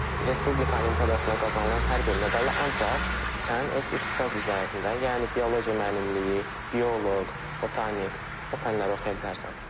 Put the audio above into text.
Respublika olimpiadasına qazanılan hər bir medalı ancaq sən öz ixtisas üzərində, yəni biologiya müəllimliyi, bioloq, botanik, o fənləri oxuya bilərsən.